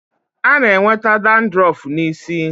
A na-enweta dadrọf n'isi.